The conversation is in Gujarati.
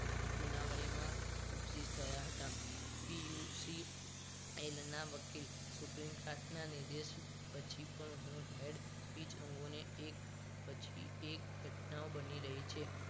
સુનાવણીમાં ઉપજિત થયા હતા PUC વકીલ સુપ્રીમ ખાતના નિર્દેશ પછી પણ હું હેડ સ્પીચ અંગોને એક પછી એક ઘટનાયો બની રહી છે